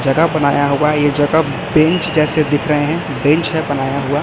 जगह बनाया होगा यह जगह बेंच जैसे दिख रहे हैं बेंच है बनाया हुआ।